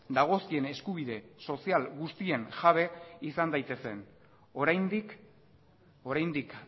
dagozkien eskubide sozial guztien jabe izan daitezen oraindik oraindik